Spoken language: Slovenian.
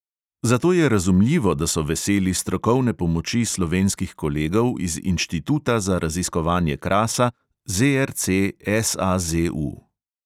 Zato je razumljivo, da so veseli strokovne pomoči slovenskih kolegov iz inštituta za raziskovanje krasa ZRC SAZU.